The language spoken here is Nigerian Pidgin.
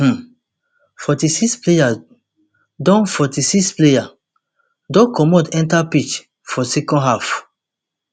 um forty-sixplayers don forty-sixplayers don comot enta pitch for second half